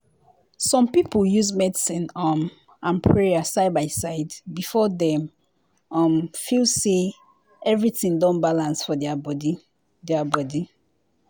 to sabi how person dey live or how dem dey do their religion things dey important reach wetin you learn for school.